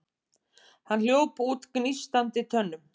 Hann hljóp út gnístandi tönnum.